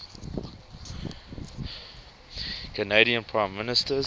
canadian prime ministers